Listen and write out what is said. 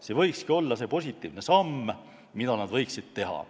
See võikski olla see positiivne samm, mida nad võiksid teha.